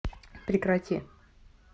прекрати